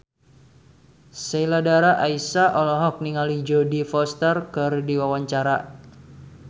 Sheila Dara Aisha olohok ningali Jodie Foster keur diwawancara